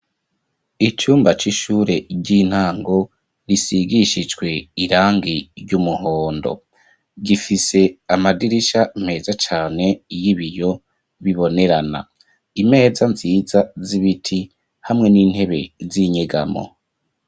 Icumba, c'ishure ry'intango, risigishijwe irangi ry'umuhondo; gifise amadirisha meza cane, y'ibiyo, bibonerana; imeza nziza, z'ibiti, hamwe n'intebe, z'inyegamo.